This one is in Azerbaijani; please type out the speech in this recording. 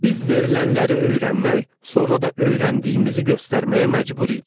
Biz verilənləri öyrənmək, sonra da öyrəndiyimizi göstərməyə məcbur idik.